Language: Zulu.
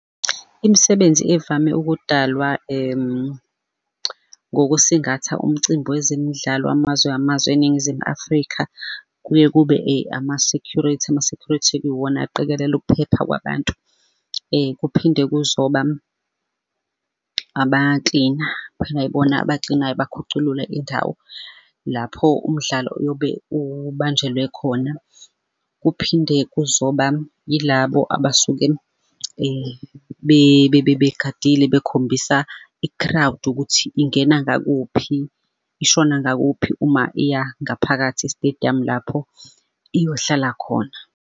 Imisebenzi evame ukudalwa ngokusingatha umcimbi wezemidlalo wamazwe ngamazwe eNingizimu Afrika, kuye kube ama-security, ama-security-ke iwona aqikelela ukuphepha kwabantu kuphinde kuzoba aba-clean-a, kuphinde ibona aba-clean-ayo bakhuculule indawo lapho umdlalo uyobe ubanjelwe khona. Kuphinde kuzoba yilabo abasuke begadile bekhombisa i-crowd ukuthi ingena ngakuphi, ishona ngakuphi uma iya ngaphakathi e-stadium lapho iyohlala khona.